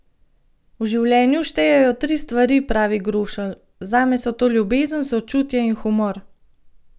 V življenju štejejo tri stvari, pravi Grošelj: "Zame so to ljubezen, sočutje in humor.